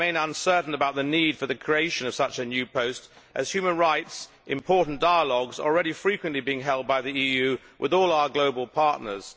I remain uncertain about the need for the creation of such a new post, as important human rights dialogues are already frequently being held by the EU with all our global partners.